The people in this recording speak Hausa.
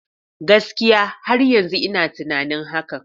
Gaskiya! Har yanzu ina tunanin hakan.